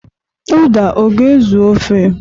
Uda ọ ga-ezu ofe?